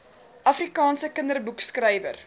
afrikaanse kinderboekskrywer